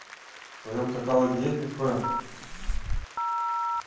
в твоем каталоге есть бетховен